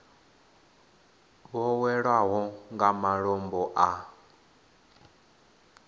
vho hwelwaho nga malombo a